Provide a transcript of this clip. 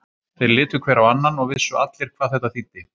Þeir litu hver á annan og vissu allir hvað þetta þýddi.